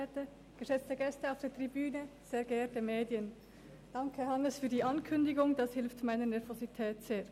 diese hilft mir sehr dabei, meine Nervosität abzulegen.